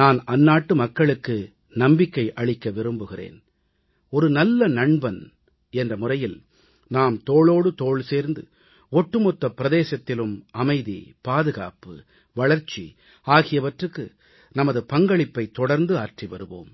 நான் அந்நாட்டு மக்களுக்கு நம்பிக்கை அளிக்க விரும்புகிறேன் ஒரு நல்ல நண்பன் என்ற முறையில் நாம் தோளோடு தோள் சேர்ந்து ஒட்டுமொத்த பிரதேசத்திலும் அமைதி பாதுகாப்பு வளர்ச்சி ஆகியவற்றுக்கு நமது பங்களிப்பை தொடர்ந்து ஆற்றி வருவோம்